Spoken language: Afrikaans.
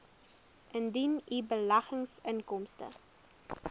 indien u beleggingsinkomste